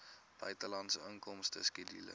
buitelandse inkomste skedule